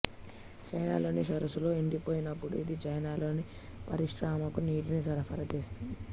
చెన్నైలోని సరస్సులు ఎండిపోయినప్పుడు ఇది చెన్నైలోని పరిశ్రమలకు నీటిని సరఫరా చేస్తుంది